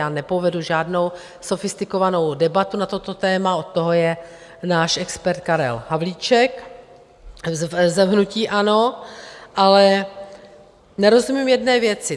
Já nepovedu žádnou sofistikovanou debatu na toto téma, od toho je náš expert Karel Havlíček z hnutí ANO, ale nerozumím jedné věci.